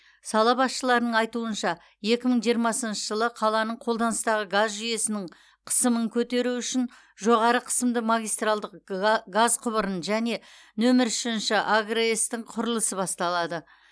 сала басшыларының айтуынша екі мың жиырмасыншы жылы қаланың қолданыстағы газ жүйесінің қысымын көтеру үшін жоғары қысымды магистралды газ құбырын және нөмір үшінші агрс тың құрылысы басталады